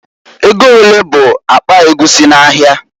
Ego olee bụ akpa egwusi n'ahịa?